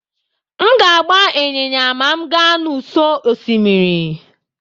M ga-agba ịnyịnya ma m gaa n'ụsọ osimiri.